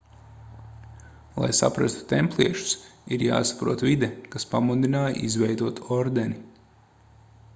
lai saprastu templiešus ir jāsaprot vide kas pamudināja izveidot ordeni